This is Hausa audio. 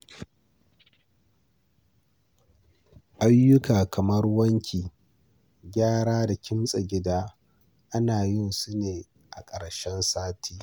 Ayyuka kamar wanki, gyara da kimtsa gida ana yin su ne a ƙarshen sati.